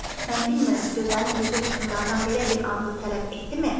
Mən bilmirəm, gözəlin özü hökmdardan belə bir andı tələb etdimi?